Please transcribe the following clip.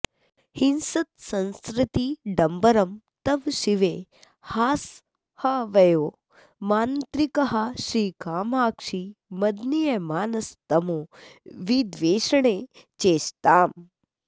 हिंसत्संसृतिडम्बरं तव शिवे हासाह्वयो मान्त्रिकः श्रीकामाक्षि मदीयमानसतमोविद्वेषणे चेष्टताम्